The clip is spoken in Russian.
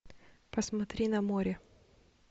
посмотри на море